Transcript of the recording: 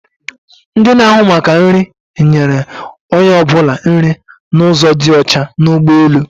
Ndi na-áhụ̀ maka nri, nyere onye ọbụla nri n'ụzo dị ọcha n'ụgbọelu